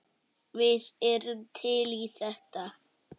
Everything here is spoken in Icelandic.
Við erum til í þetta.